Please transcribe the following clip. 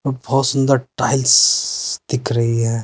बहुत सुंदर टाइल्स दिख रही है।